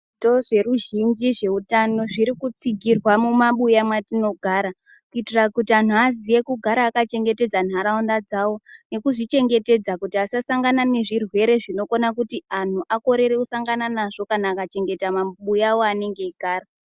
Zvitoro zvizhinji zveutano zviri kutsigirwa mumabuya mwatinogara kuitira kuti anhu aziye kugara akachengetedza nharaunda dzawo, ngekuzvichengetedza kuti asasangana nezvirwere zvinokona kuti anhu akorere kusangana nazvo kana akachengeta mamubuya awo aanenge eyigara.